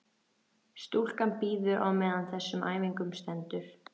Stúlkan bíður á meðan á þessum æfingum stendur.